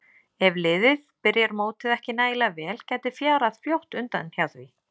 Ef liðið byrjar mótið ekki nægilega vel gæti fjarað fljótt undan hjá því.